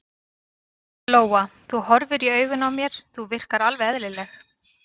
Lóa: Þú horfir í augun á mér, þú virkar alveg eðlileg?